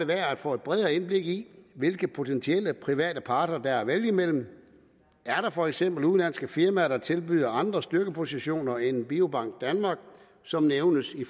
værd at få et bredere indblik i hvilke potentielle private parter der er at vælge imellem er der for eksempel udenlandske firmaer der tilbyder andre styrkepositioner end biobank danmark som nævnes i